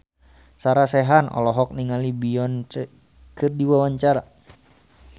Sarah Sechan olohok ningali Beyonce keur diwawancara